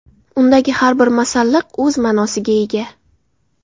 Undagi har bir masalliq o‘z ma’nosiga ega.